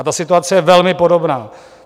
A ta situace je velmi podobná.